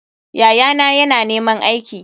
Yayana yana neman aiki.